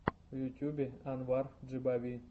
в ютубе анвар джибави